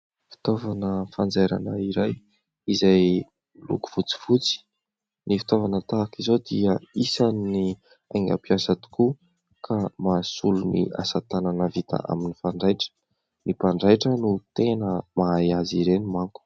Fitaovana fanjairana iray izay miloko fotsifotsy. Ny fitaovana tahaka izao dia isan'ny haingam-piasa tokoa ka mahasolo ny asa tanana vita amin'ny fanjaitra. Ny mpanjaitra no tena mahay azy ireny manko.